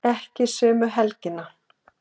Ekki sömu helgina.